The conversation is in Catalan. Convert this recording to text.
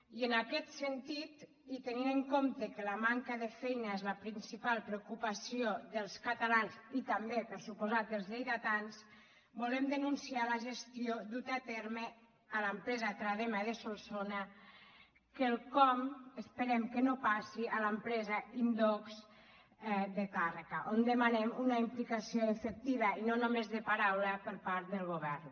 i en aquest sentit i tenint en compte que la manca de feina és la principal preocupació dels catalans i tam·bé per descomptat dels lleidatans volem denunciar la gestió duta a terme a l’empresa tradema de solso·na quelcom que esperem que no passi a l’empresa in·dox de tàrrega on demanem una implicació efectiva i no només de paraula per part del govern